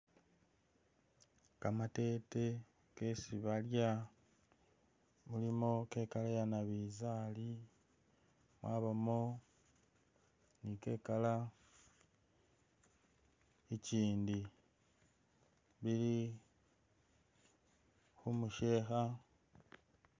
Kamatete kesi balya mulimo ke'colour yanabinzari mwabamo ni ke'colour ikyindi ili khumusheha